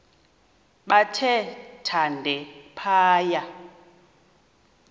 bathe thande phaya